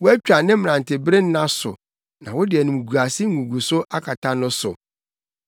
Woatwa ne mmerantebere nna so na wode animguase nguguso akata no so.